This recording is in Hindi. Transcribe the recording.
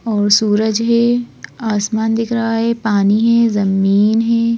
और सूरज है आसमान दिख रहा है पानी है जमीन है।